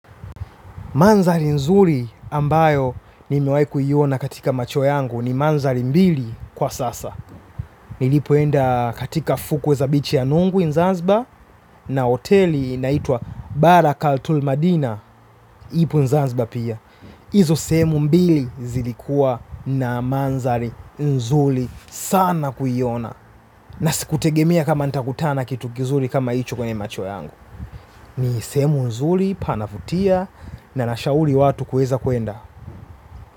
Mandhari nzuri ambayo nimewahi kuiona katika macho yangu ni mandhari mbili kwa sasa. Nilipoenda katika fukwe za bichi ya nungwe Zanzibar na hoteli inaitwa Barakaltul Madina ipo Zanzibar pia. Hizo sehemu mbili zilikuwa na mandhari nzuri sana kuiona. Na sikutegemea kama nitakutana kitu kizuri kama hicho kwenye macho yangu. Ni sehemu nzuri, panavutia na nashauri watu kuweza kuenda.